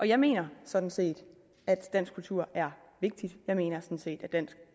jeg mener sådan set at dansk kultur er vigtig jeg mener sådan set at dansk